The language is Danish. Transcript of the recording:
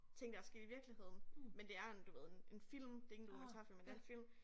Ting der sket i virkeligheden men det er en du ved en en film det ikke en dokumentarfilm men det er en film